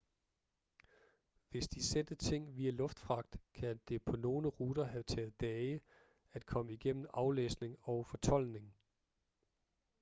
hvis de sendte ting via luftfragt kan det på nogle ruter have taget dage at komme igennem aflæsning og fortoldning